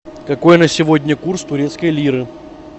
какой на сегодня курс турецкой лиры